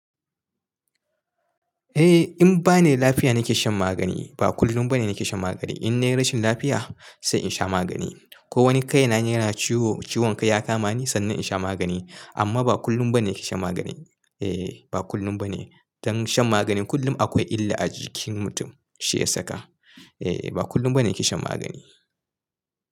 Eh, in bani lafiya nake shan magani. Ba kullum bane nake shan magani. In nayi rashin lafiya sai in sha magani. Ko wani kai na yana ciwo, ciwon kai ya kama ni sannan in sha magani. Amma ba kullum bane nake shan magani. Eh, ba kullum bane. Don shan magani kullum akwai illa a jikin mutum shi ya saka. Eh, ba kullum bane kishin magani.